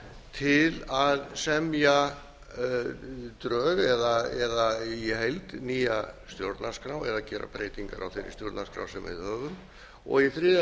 til að semja drög eða í heild nýja stjórnarskrá eða gera breytingar á þeirri stjórnarskrá sem við höfum í þriðja